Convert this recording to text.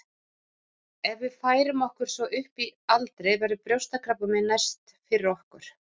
Ef við færum okkur svo upp í aldri verður brjóstakrabbamein næst fyrir okkur.